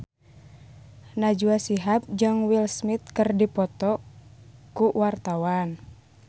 Najwa Shihab jeung Will Smith keur dipoto ku wartawan